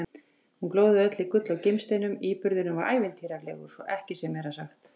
Hún glóði öll í gulli og gimsteinum- íburðurinn var ævintýralegur, svo ekki sé meira sagt!